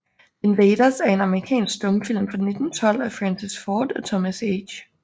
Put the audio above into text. The Invaders er en amerikansk stumfilm fra 1912 af Francis Ford og Thomas H